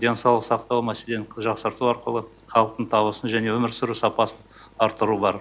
денсаулық сақтау мәселені жақсарту арқылы халықтың табысын және өмір сүру сапасын арттыру бар